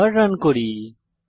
আবার রান করি